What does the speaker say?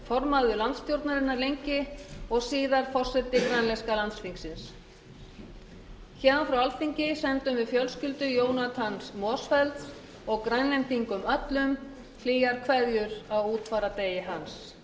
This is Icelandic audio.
formaður landsstjórnarinnar lengi og síðar forseti grænlenska landsþingsins héðan frá alþingi sendum við fjölskyldu jonathans motzfeldts og grænlendingum öllum hlýjar kveðjur á útfarardegi hans